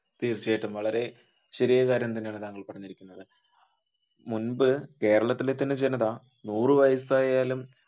തീർച്ചയായിട്ടും വളരെ ശരിയായ കാര്യം തന്നെയാണ് താങ്കൾ പറഞ്ഞിരിക്കുന്നത് മുൻപ് കേരളത്തിന്റെ തന്നെ ജനത നൂറു വയസ്സായാലും